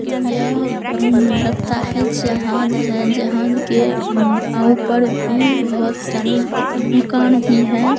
यह लगता है जहाज है जहाज के अ ऊपर भी बहुत सारे मकान भी है।